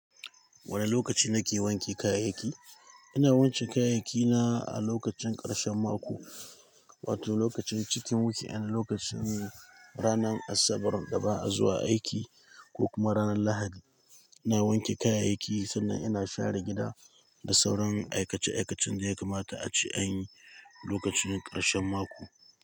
Wane lokaci na ke wanke kayayyaki? Ina wancan kayayyaki na a lokacin karshen mako, wato lokacin cikin weekend wato lokacin ranar Asabar daba a zuwa aiki ko kuma ranar Lahadi. Na wanke kayayyaki sannan ina share gida da sauran aikace aikacen da ya kamata a ci a yi lokacin karshen mako.